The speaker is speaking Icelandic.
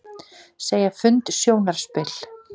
Segja fund sjónarspil